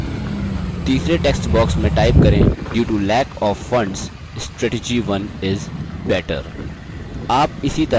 तीसरे text box में type करें : due to lack of funds strategy 1 is better